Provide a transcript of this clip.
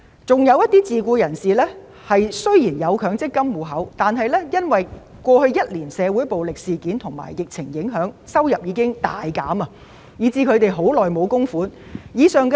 此外，自僱人士雖然有強積金戶口，但過去一年的社會暴力事件及疫情令其收入大減，已經很久沒有供款。